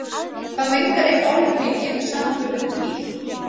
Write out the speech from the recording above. Hvað mengar eitt álver mikið í samanburði við bíl?